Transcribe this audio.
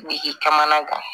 Biriki caman na